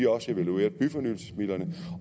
også evalueret byfornyelsesmidlerne